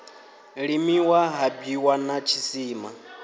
limiwa ha bwiwa na tshisima